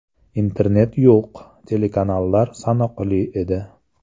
Internet yo‘q, telekanallar sanoqli edi.